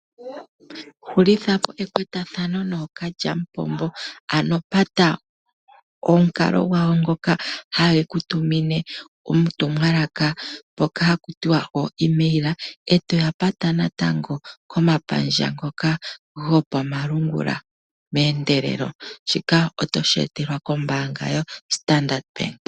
Hulithapo ekwatathano nookalyamupombo. Ano pata omukalo gwawo ngoka hayeku tumine uutumwalaka hawu ithanwa ooEmail, e toya pata natango komapandja ngoka gopamalungula meendelelo. Shika otoshi etelwa kombaanga yoStandard Bank.